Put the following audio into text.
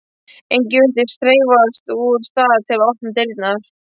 Enginn virðist hreyfast úr stað til að opna dyrnar.